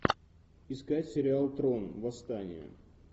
искать сериал трон восстание